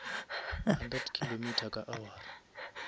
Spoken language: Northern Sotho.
hundred kilometer ka awara